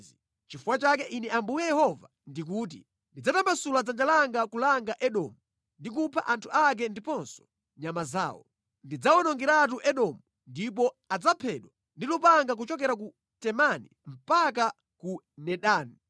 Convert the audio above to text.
Nʼchifukwa chake Ine Ambuye Yehova ndikuti: Ndidzatambasula dzanja langa kulanga Edomu ndi kupha anthu ake ndiponso nyama zawo. Ndidzawonongeratu Edomu ndipo adzaphedwa ndi lupanga kuchokera ku Temani mpaka ku Dedani.